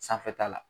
Sanfɛta la